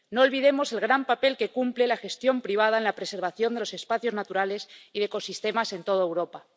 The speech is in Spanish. No olvidemos el gran papel que cumple la gestión privada en la preservación de los espacios naturales y de ecosistemas en toda Europa.